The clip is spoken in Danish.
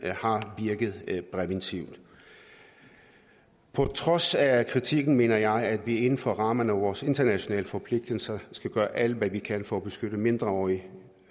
har virket præventivt på trods af kritikken mener jeg at vi inden for rammerne af vores internationale forpligtelser skal gøre alt hvad vi kan for at beskytte mindreårige